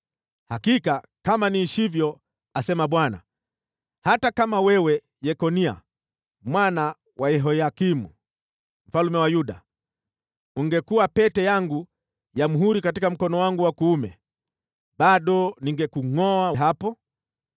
“Hakika kama niishivyo,” asema Bwana , “hata kama wewe, Yekonia mwana wa Yehoyakimu mfalme wa Yuda, ungekuwa pete yangu ya muhuri katika mkono wangu wa kuume, bado ningekungʼoa hapo.